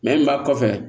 b'a kɔfɛ